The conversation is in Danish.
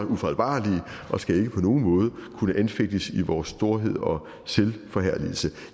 ufejlbarlige og skal ikke på nogen måde kunne anfægtes i vores storhed og selvforherligelse